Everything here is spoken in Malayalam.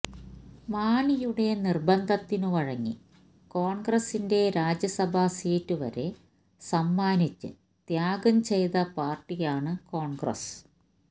മാണിയുടെ നിർബന്ധത്തിനു വഴങ്ങി കോൺഗ്രസിന്റെ രാജ്യസഭാ സീറ്റ് വരെ സമ്മാനിച്ച് ത്യാഗം ചെയ്ത പാർട്ടിയാണ് കോൺഗ്രസ്